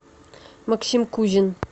максим кузин